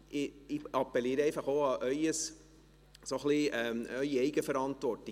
Ich appelliere einfach an Ihre Eigenverantwortung: